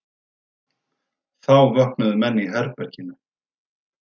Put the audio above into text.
Þá vöknuðu menn í herberginu.